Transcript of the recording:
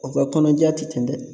U ka kɔnɔja ti dɛ